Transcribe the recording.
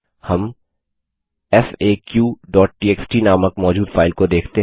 हम faqटीएक्सटी नामक मौजूद फाइल को देख सकते हैं